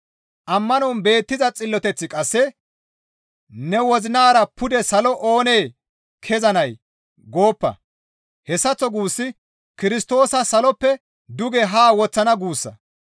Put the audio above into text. Ammanon beettiza xilloteththi qasse, «Ne wozinara pude salo oonee kezanay? gooppa;» hessaththo guussi Kirstoosa saloppe duge haa woththana guussa.